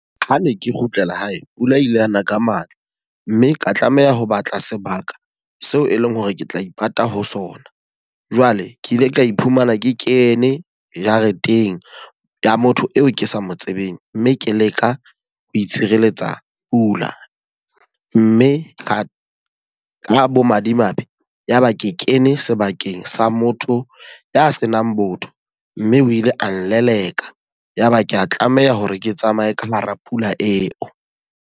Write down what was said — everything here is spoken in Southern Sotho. Ha ne ke kgutlela hae, pula ile yana ka matla. Mme ka tlameha ho batla sebaka seo e leng hore ke tla ipata ho sona. Jwale ke ile ka iphumana ke kene jareteng ya motho eo ke sa mo tsebeng. Mme ke leka ho itshireletsa pula, mme ka bo madimabe ya ba ke kene sebakeng sa motho ya senang botho mme o ile a nleleka. Ya ba ke a tlameha hore ke tsamaye ka hara pula eo.